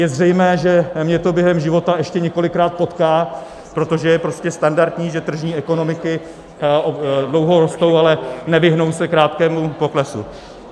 Je zřejmé, že mě to během života ještě několikrát potká, protože je prostě standardní, že tržní ekonomiky dlouho rostou, ale nevyhnou se krátkému poklesu.